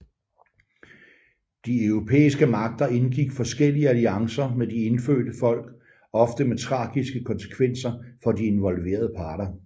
De europæiske magter indgik forskellige alliancer med de indfødte folk ofte med tragiske konsekvenser for de involverede parter